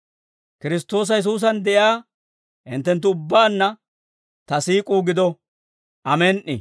Kiristtoosa Yesuusan de'iyaa hinttenttu ubbaanna ta siik'uu gido. Amen"i.